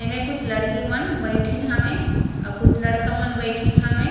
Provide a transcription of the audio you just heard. एमे कुछ लड़की मन बईठीन हावय अउ कुछ लड़का मन बैठीन हावय।